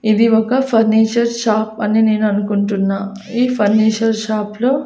ఇది ఒక furniture shop అని నేను అనుకుంటున్నా ఈ ఫర్నిసర్ షాప్ లో --